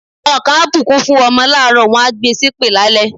Àwọn kan á bùkún fún ọmọ láàárọ̀, wọ́n máa gbe ṣépè lálẹ́.